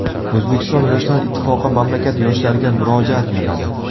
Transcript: O‘zbekiston yoshlar ittifoqi mamlakat yoshlariga murojaat yo‘lladi.